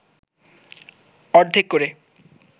অর্ধেক করে